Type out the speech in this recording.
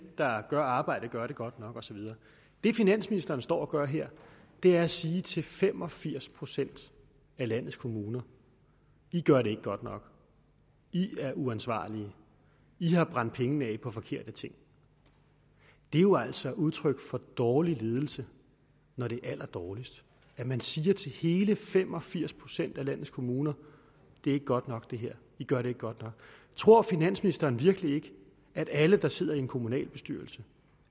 der gør arbejdet gør det godt nok og så videre det finansministeren står og gør her er at sige til fem og firs procent af landets kommuner i gør det ikke godt nok i er uansvarlige i har brændt pengene af på forkerte ting det er jo altså udtryk for dårlig ledelse når det er allerdårligst at man siger til hele fem og firs procent af landets kommuner det er ikke godt nok det her i gør det ikke godt nok tror finansministeren virkelig ikke at alle der sidder i en kommunalbestyrelse